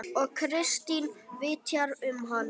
Og Kristín vitjar um hana.